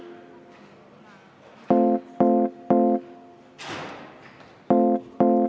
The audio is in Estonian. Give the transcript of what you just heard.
Aitäh!